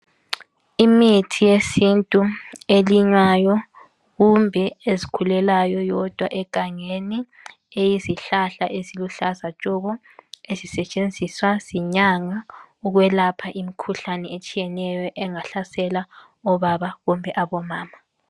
Imithi yesintu elinywayo kumbe ezikhulelayo yodwa egangeni eyizihlahla eziluhlaza tshoko ezisetshenziswa zinyanga ukwelapha imikhuhlane etshiyeneyo engahlasela obaba kumbe abomama